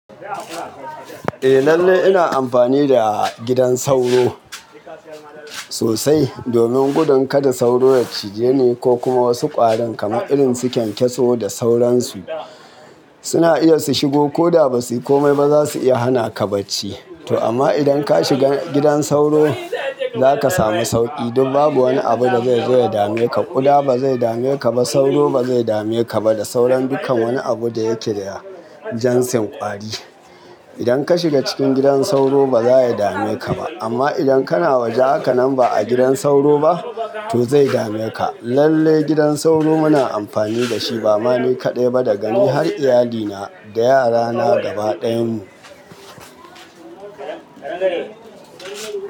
Eh lalle ina amfani da gidan sauro sosai domin gudun kada sauro ya cije ni ko kuma wasu ƙwarin kamar irin su kyankyaso da sauransu. Suna iya su shigo koda ba su komai baza su iya hana ka bacci. To amma idan ka shiga gidan sauro zaka sami sauƙi don babu wani abu da zai zo ya dame ka. Kuda ba zai dame ka ba, sauro ba zai dame ka ba da sauran dukkan wani abu da yake da jansin ƙwari. Idan ka shiga cikin gidan sauro ba za ya dame ka ba. Amma idan kana waje hakanan ba a gidan sauro ba to zai dame ka. Lallai gidan sauro muna amfani da shi ba mani kaɗai ba da gani har iyalina da yarana gaba ɗayan mu.